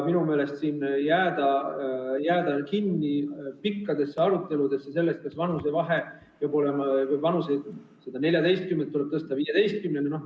Minu meelest siin jääda kinni pikkadesse aruteludesse selle üle, kas tõsta vanusepiir 14. eluaastalt 15. eluaastale.